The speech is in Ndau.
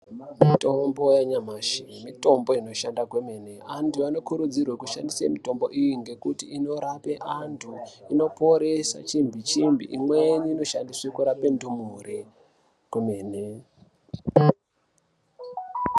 Mitombo yanyamashi mitombo inoshanda kwemene . Antu anokurudzirwe kushandisa mitombo iyi ngekuti inorape antu inoporesa chimbi chimbi. Imweni inoshandiswa kurape ndumure kwemene.